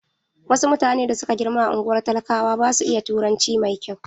Wasu mutane da suka girma a ungwar talakawa basu iya turanci mai kyau.